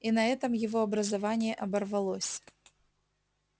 и на этом его образование оборвалось